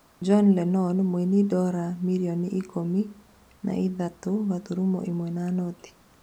John Lennon mũini Dora mirioni ikũmi na ithatũ gaturumo ĩmwe na noti